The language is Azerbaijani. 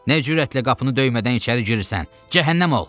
Nə cürətlə qapını döymədən içəri girirsən? Cəhənnəm ol!